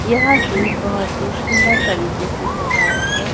यह गेट बहोत ही सुंदर तरीके से सजाया हैं।